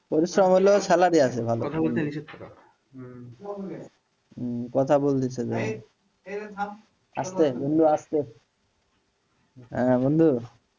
পরিশ্রম হলেও স্যালারি আছে ভালো কথা বলছে যে আস্তে বন্ধু আস্তে, হ্যাঁ বন্ধু,